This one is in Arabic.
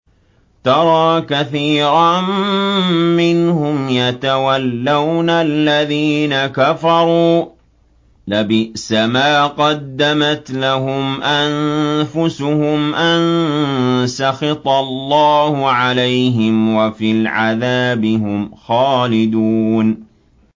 تَرَىٰ كَثِيرًا مِّنْهُمْ يَتَوَلَّوْنَ الَّذِينَ كَفَرُوا ۚ لَبِئْسَ مَا قَدَّمَتْ لَهُمْ أَنفُسُهُمْ أَن سَخِطَ اللَّهُ عَلَيْهِمْ وَفِي الْعَذَابِ هُمْ خَالِدُونَ